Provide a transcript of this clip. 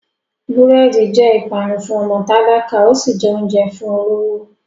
Búrẹ́dì jẹ́ ìpanu fún ọmọ tálákà, ó sì jẹ oúnjẹ fún olówó.